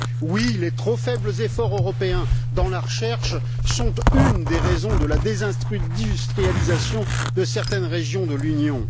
Oui, les trop faibles efforts européens dans la recherche sont une des raisons de la désindustrialisation de certaines régions de l'Union.